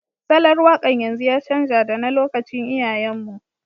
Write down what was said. Salon waƙar yanzu ya canja da na lokacin iyayen mu